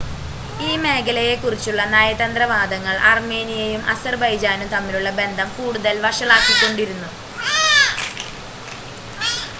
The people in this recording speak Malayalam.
ഈ മേഖലയെക്കുറിച്ചുള്ള നയതന്ത്ര വാദങ്ങൾ അർമേനിയയും അസർബൈജാനും തമ്മിലുള്ള ബന്ധം കൂടുതൽ വഷളാക്കിക്കൊണ്ടിരിക്കുന്നു